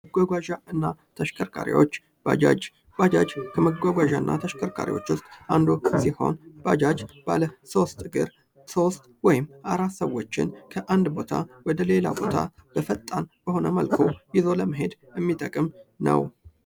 መጓጓዣ እና ተሽከርካሪዎች፤ ባጃጅ፦ ባጃጅ ከመጓጓዣና ተሽከርካሪዎች ውስጥ አንዱ ሲሆን ባጃጅ ባለ ሶስት እግር፤ ሶስት ወይም አራት ሰወችን ከአንድ ቦታ ወደ ሌላ ቦታ በፈጣን በሆነ መልኩ ይዞ ለመሄድ የሚጠቅም ነው።